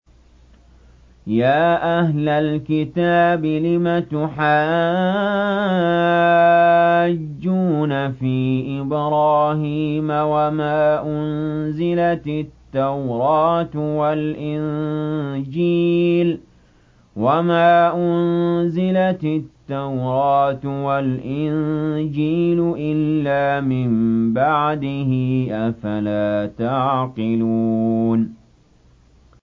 يَا أَهْلَ الْكِتَابِ لِمَ تُحَاجُّونَ فِي إِبْرَاهِيمَ وَمَا أُنزِلَتِ التَّوْرَاةُ وَالْإِنجِيلُ إِلَّا مِن بَعْدِهِ ۚ أَفَلَا تَعْقِلُونَ